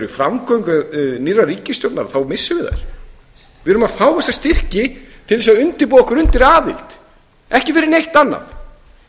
framgöngu nýrrar ríkisstjórnar þá missum við þær við erum að fá þessa styrki til að undirbúa okkur undir aðild ekki fyrir neitt annað